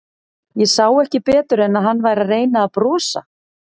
Ég sá ekki betur en að hann væri að reyna að brosa.